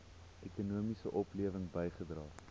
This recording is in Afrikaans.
ekonomiese oplewing bygedra